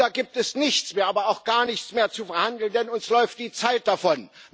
Da gibt es nichts mehr, aber auch gar nichts mehr zu verhandeln, denn uns läuft die Zeit davon.